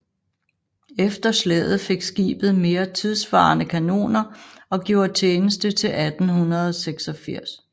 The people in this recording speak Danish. Efter slaget fik skibet mere tidssvarende kanoner og gjorde tjeneste til 1886